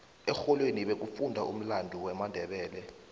erholweni bekufundwa umlando wamandebele